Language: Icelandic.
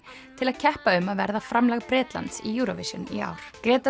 til að keppa um að verða framlag Bretlands í Eurovision í ár